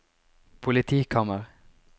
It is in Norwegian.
politikammer